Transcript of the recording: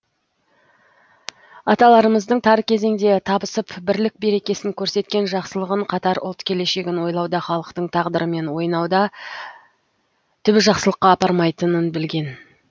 аталарымыздың тар кезеңде табысып бірлік берекесін көрсеткен жақсылығын қатар ұлт келешегін ойлауда халықтың тағдырымен ойнау да түбі жақсылыққа апармайтынын білген